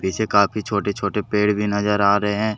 इसे काफी छोटे छोटे पेड़ भी नजर आ रहे हैं।